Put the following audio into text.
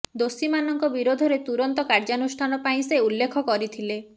ଦୋଷୀମାନଙ୍କ ବିରୋଧରେ ତୁରନ୍ତ କାର୍ଯ୍ୟାନୁଷ୍ଠାନ ପାଇଁ ସେ ଉଲ୍ଲେଖ କରିଥିଲେ